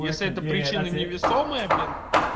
если это причина невесомая блин